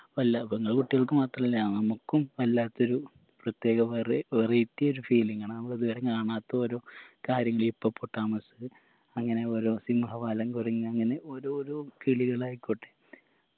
വല്ല പെങ്ങളെ കുട്ടിയൾക്ക് മാത്രല്ല നമ്മക്കും വല്ലാത്തൊരു പ്രത്യേക വെറെ variety ഒരു feeling ആണ് നമ്മളിത് വരെ കാണാത്ത ഓരോ കാര്യങ്ങള് ഹിപ്പോ പൊട്ടാമസ് അങ്ങനെ ഓരോ സിംഹവാലൻ കുരങ്ങ് അങ്ങനെ ഓരോരോ കിളികളായിക്കോട്ടെ